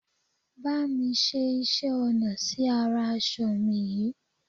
Bá mi ṣe iṣẹ́ ọnà sí ara aṣọ mi yìí